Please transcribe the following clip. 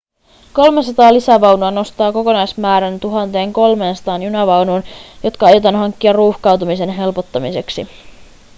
300 lisävaunua nostaa kokonaismäärän 1 300 junavaunuun jotka aiotaan hankkia ruuhkautumisen helpottamiseksi